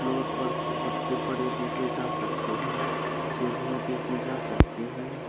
Floor पर पत्ते पड़े देखे जा सकते हैं सीढ़ियां देखी जा सकती हैं।